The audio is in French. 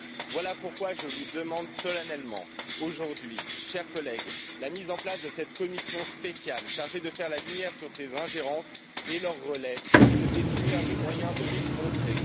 Voilà pourquoi je vous demande solennellement aujourd'hui, chers collègues, la mise en place de cette commission spéciale chargée de faire la lumière sur ces ingérences et leurs relais et de définir les moyens de les contrer.